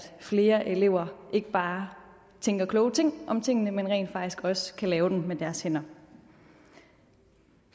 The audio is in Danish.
flere elever ikke bare tænker kloge ting om tingene man rent faktisk også kan lave dem med deres hænder